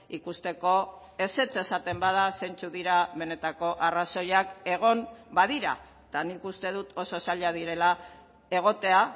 ikusteko ezetz esaten bada zeintzuk dira benetako arrazoiak egon badira eta nik uste dut oso zailak direla egotea